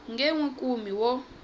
nge n wi kumi wo